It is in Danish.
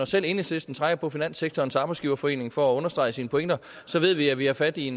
selv enhedslisten trækker på finanssektorens arbejdsgiverforening for at understrege sine pointer så ved vi at vi har fat i